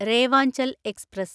Revanchal express